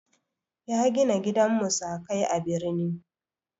Ya gina gidan musakai a birni.